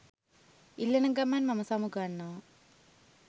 ඉල්ලන ගමන් මම සමුගන්නවා